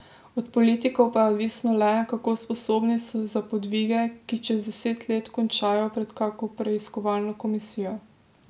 Od politikov pa je odvisno le, kako sposobni so za podvige, ki čez deset let končajo pred kako preiskovalno komisijo.